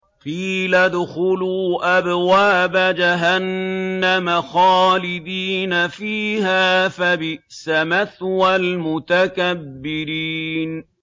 قِيلَ ادْخُلُوا أَبْوَابَ جَهَنَّمَ خَالِدِينَ فِيهَا ۖ فَبِئْسَ مَثْوَى الْمُتَكَبِّرِينَ